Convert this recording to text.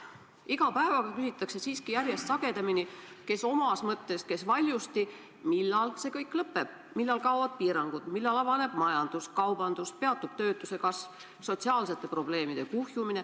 Iga päevaga küsitakse siiski järjest sagedamini, kes omas mõttes, kes valjusti, millal see kõik lõpeb, millal kaovad piirangud, millal avaneb majandus, kaubandus, peatub töötuse kasv, sotsiaalsete probleemide kuhjumine.